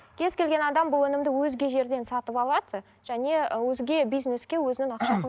кез келген адам бұл өнімді өзге жерден сатып алады және өзге бизнеске өзінің